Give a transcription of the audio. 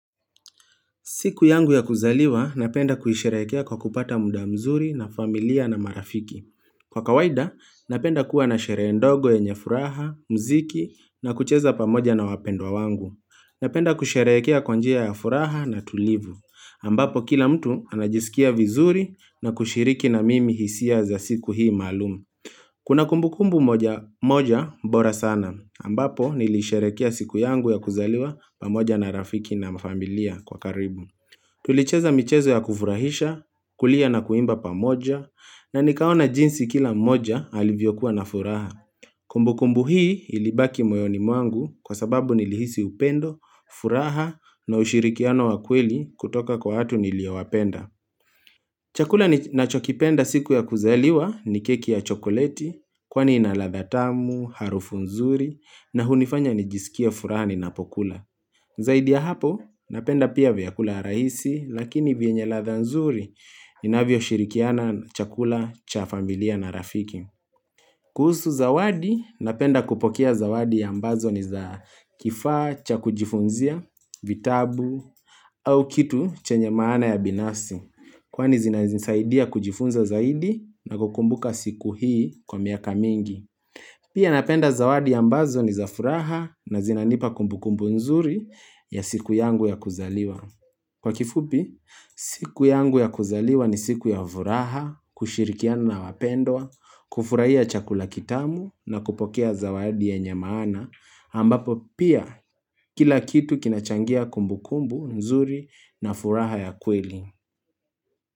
Siku yangu ya kuzaliwa, napenda kuisherekea kwa kupata muda mzuri na familia na marafiki. Kwa kawaida, napenda kuwa na sherehe ndogo yenye furaha, mziki, na kucheza pamoja na wapendwa wangu. Napenda kusherekea kwa njia ya furaha na tulivu. Ambapo kila mtu anajisikia vizuri na kushiriki na mimi hisia za siku hii malum. Kuna kumbukumbu moja moja bora sana. Ambapo nilisherekea siku yangu ya kuzaliwa pamoja na rafiki na familia kwa karibu. Tulicheza michezo ya kufurahisha, kulia na kuimba pamoja, na nikaona jinsi kila mmoja alivyokuwa na furaha. Kumbukumbu hii ilibaki moyoni mwangu kwa sababu nilihisi upendo, furaha na ushirikiano wa kweli kutoka kwa watu niliowapenda. Chakula ninachokipenda siku ya kuzaliwa ni keki ya chokoleti, kwani ina ladha tamu, harufu nzuri, na hunifanya nijisikie furaha ninapokula. Zaidi ya hapo, napenda pia vyakula rahisi, lakini vienye ladha nzuri, inavyoshirikiana chakula cha familia na rafiki. Kuhusu zawadi, napenda kupokea zawadi ambazo ni za kifaa, cha kujifunzia, vitabu, au kitu chenye maana ya binafsi. Kwani zinazinisaidia kujifunza zaidi na kukumbuka siku hii kwa miaka mingi. Pia napenda zawadi ambazo ni za furaha na zinanipa kumbukumbu nzuri ya siku yangu ya kuzaliwa. Kwa kifupi, siku yangu ya kuzaliwa ni siku ya vuraha, kushirikiana na wapendwa, kufurahia chakula kitamu na kupokea zawadi yenye maana, ambapo pia kila kitu kinachangia kumbukumbu, nzuri na furaha ya kweli.